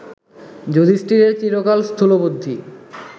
যুধিষ্ঠিরের চিরকাল স্থূলবুদ্ধি